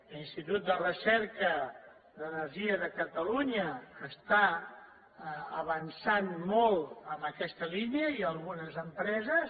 l’institut de recerca en energia de catalunya està avançant molt en aquesta línia i algunes empreses